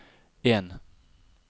en